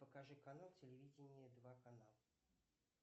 покажи канал телевидение два канал